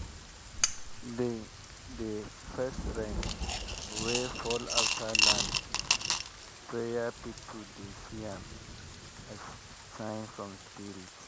the the first rain wey fall after land prayer people dey see am as sign from spirit.